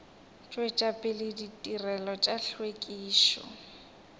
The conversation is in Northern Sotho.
tšwetša pele ditirelo tša hlwekišo